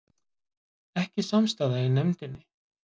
Ekki samstaða í nefndinni